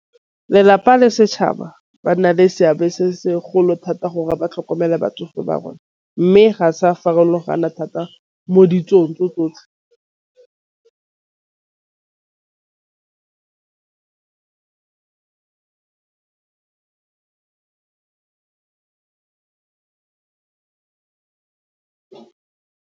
Lelapa le setšhaba ba nna le seabe se thata gore ba tlhokomela batsofe ba rona, mme ga sa farologana thata mo ditsong tse tsotlhe.